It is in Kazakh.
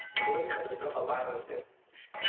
экология катострофа бар бізде